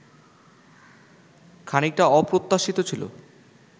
খানিকটা অপ্রত্যাশিত ছিল